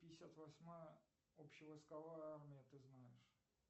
пятьдесят восьмая общевойсковая армия ты знаешь